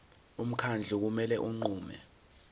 umkhandlu kumele unqume